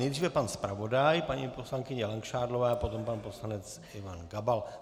Nejdříve pan zpravodaj, paní poslankyně Langšádlová a potom pan poslanec Ivan Gabal.